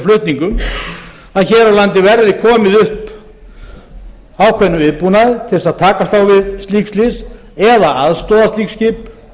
flutningum að hér á landi verði komið upp ákveðnum viðbúnaði til þess að takast á við slík slys eða aðstoða slík skip